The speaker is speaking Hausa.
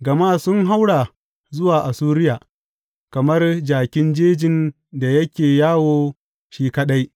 Gama sun haura zuwa Assuriya kamar jakin jejin da yake yawo shi kaɗai.